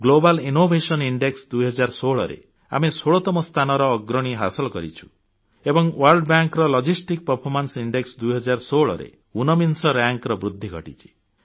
global innovation index 2016ରେ ଆମେ 16ତମ ସ୍ଥାନର ଅଗ୍ରଣୀ ହାସଲ କରିଛୁ ଏବଂ world bank logistics performance index 2016ରେ ଊନବିଂଶ ମାନ୍ୟତାର ବୃଦ୍ଧି ଘଟିଛି